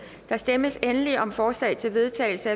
der stemmes endelig om forslag til vedtagelse